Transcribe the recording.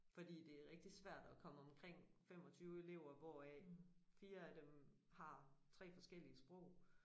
Fordi det er rigtigt svært at komme omkring 25 elever hvoraf 4 af dem har 3 forskellige sprog